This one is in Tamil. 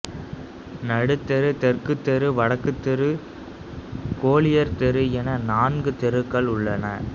நடுத்தெரு தெற்குத் தெரு வடக்குத் தெரு கோலியர் தெரு என நான்கு தெருக்கள் உள்ளன